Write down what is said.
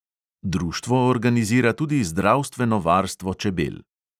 Društvo organizira tudi zdravstveno varstvo čebel.